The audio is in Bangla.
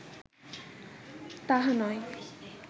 তাহা নয়